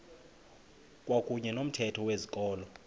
kwakuyne nomthetho wezikolo